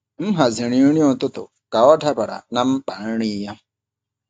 M haziri nri ụtụtụ ka ọ dabara na mkpa nri ya.